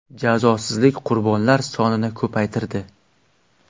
Jazosizlik qurbonlar sonini ko‘paytirdi.